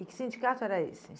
E que sindicato era esse?